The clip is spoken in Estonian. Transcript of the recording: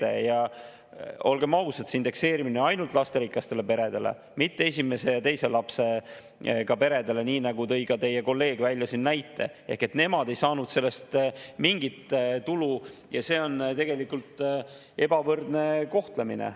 Ja olgem ausad, see indekseerimine ainult lasterikastele peredele, mitte esimese ja teise lapsega peredele, nii nagu tõi ka teie kolleeg siin välja – nemad ei saanud sellest mingit tulu ja see on tegelikult ebavõrdne kohtlemine.